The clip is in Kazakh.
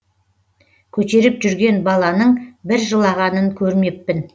көтеріп жүрген баланың бір жылағанын көрмеппін